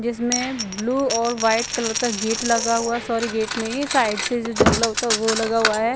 इसमें ब्लू और white colour का गेट लगा हुआ है सॉरी ये गेट नहीं है साइड से जो जंगला होता है वो लगा हुआ है ।